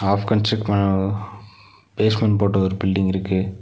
Half construct பண் அ basement போட்ட ஒரு பில்டிங் இருக்கு.